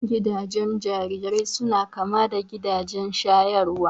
Gidajen jarirai suna kama da gidajen shayarwa